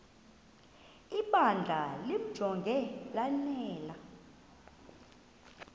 ibandla limjonge lanele